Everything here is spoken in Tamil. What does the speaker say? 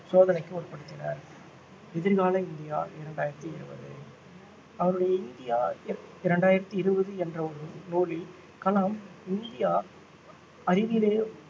சோதனைக்கு உட்படுத்தினர் எதிர்கால இந்தியா இரண்டாயிரத்தி இருபது அவருடைய இந்தியா இர~ இரண்டாயிரத்தி இருபது என்ற ஒரு நூலில் கலாம் இந்தியா அறிவிலே